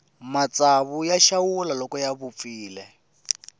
matsawu ya xawula loko ya vupfile